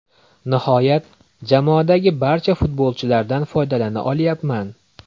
Nihoyat, jamoadagi barcha futbolchilardan foydalana olyapman.